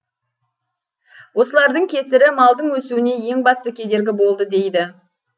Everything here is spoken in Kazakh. осылардың кесірі малдың өсуіне ең басты кедергі болды дейді